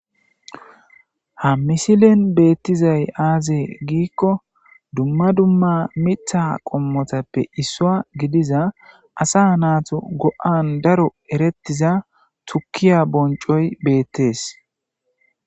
Ha missilen bettizay azee giko dumma dumma mitha qomotappe issuwa gidiza asa nattu go''an daro erettiza tukkiya bonccoy bettes